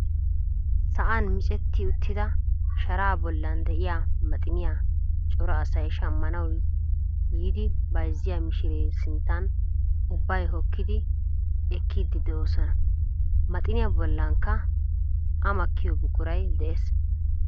Sa'aan miccetti uttida sharaa bollaa de'iyaa maxiniyaa cora asay shaammanawu yiidi bayzziyaa mishiree sinttan ubbay hookkidi ekkiidi de'oosona. maxiniyaa bollankka a makkiyoo buquray de'ees.